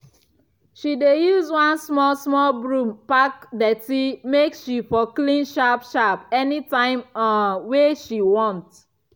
she dey use one small small broom pack dirty make she for clean sharp sharp anytime um wey she want